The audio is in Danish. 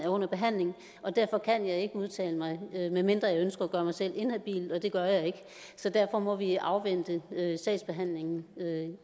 under behandling og derfor kan jeg ikke udtale mig medmindre jeg ønsker at gøre mig selv inhabil og det gør jeg ikke så derfor må vi afvente sagsbehandlingen